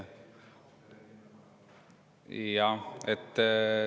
Jah.